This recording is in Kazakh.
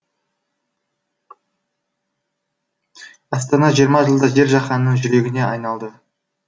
астана жиырма жылда жер жаһанның жүрегіне айналды